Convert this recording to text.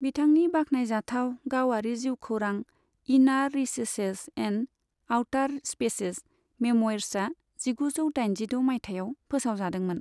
बिथांनि बाख्नायजाथाव गावारि जिउखौरां, इनार रिसेसेस एन्ड आवटार स्पेसेस, मेम'इर्सआ जिगुजौ दाइनजिद' माइथायाव फोसावजादोंमोन।